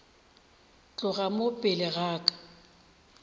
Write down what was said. tloga mo pele ga ka